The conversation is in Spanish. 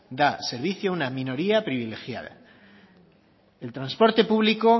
da servicio a una minoría privilegiada el transporte público